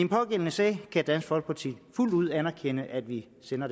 pågældende sag kan dansk folkeparti fuldt ud anerkende at vi sender